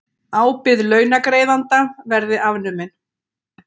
Ábyrgð launagreiðanda verði afnumin